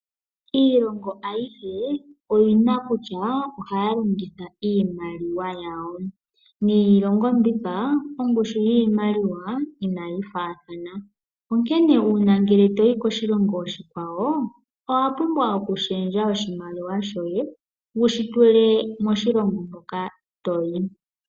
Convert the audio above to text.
Iilongo aihe oyina kutya ohaya longitha iimaliwa yawo . Niilongo mbika ongushu yiimaliwa inayi faathana .Onkene uuna ngele toyi koshilongo shimwe owa pumbwa oku shendja oshimaliwa shoye wushi tule moshilongo shoka toyi.